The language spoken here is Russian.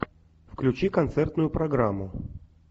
включи концертную программу